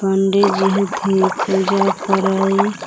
पंडिजी हथि पूजा करे--